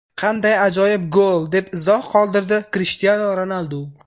Qanday ajoyib gol!”, deb izoh qoldirdi Krishtianu Ronaldu.